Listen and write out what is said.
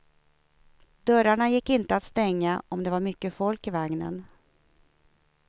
Dörrarna gick inte att stänga om det var mycket folk i vagnen.